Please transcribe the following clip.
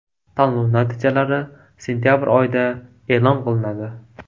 Tanlov natijalari sentabr oyida e’lon qilinadi.